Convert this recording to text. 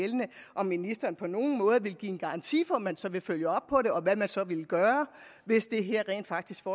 om ministeren på nogen måde vil give en garanti for at man så vil følge op på det og hvad man så vil gøre hvis det her rent faktisk får